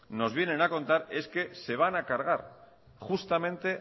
nos vienen a contar es que se van a cargar justamente